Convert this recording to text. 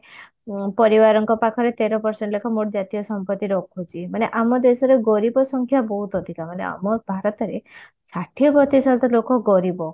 ଅ ପରିବାରଙ୍କ ପାଖରେ ତେର percent ଲେଖା ମୋଟ ଜାତୀୟ ସମ୍ପତି ରଖୁଛି ମାନେ ଆମ ଦେଶରେ ଗରିବ ସଂଖ୍ୟା ବହୁତ ଅଧିକା ମାନେ ଆମ ଭାରତରେ ଷାଠିଏ ପ୍ରତିଶତ ଲୋକ ଗରିବ